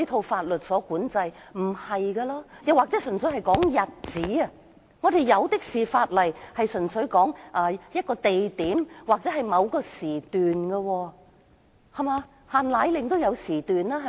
法例可以只適用於某個指定日期，我們有很多法例都指定適用於某個地點或某個時段，例如"限奶令"便有限時，對嗎？